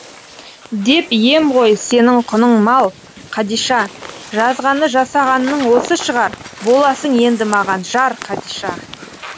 деп ем ғой сенің құның мал қадиша жазғаны жасағанның осы шығар боласың енді маған жар қадиша